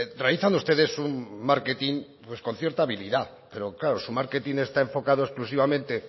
realizan ustedes un marketing con cierta habilitad pero claro su marketing está enfocado exclusivamente